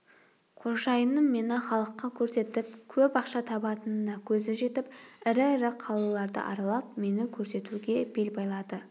қожайыным мені халыққа көрсетіп көп ақша табатынына көзі жетіп ірі-ірі қалаларды аралап мені көрсетуге бел байлады